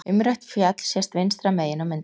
umrætt fjall sést vinstra megin á myndinni